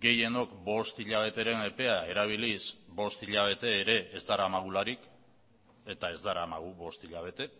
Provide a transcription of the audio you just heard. gehienok bost hilabeteren epea erabiliz bost hilabete ere ez daramagularik eta ez daramagu bost hilabete